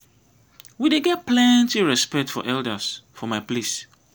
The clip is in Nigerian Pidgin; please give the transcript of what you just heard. we dey get plenty respect for elders for my place.